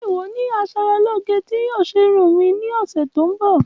Ṣe iwọ ni aṣaralóge ti yoo ṣe irun mi ni ọsẹ to nbọ?